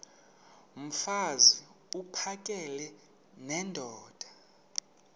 mfaz uphakele nendoda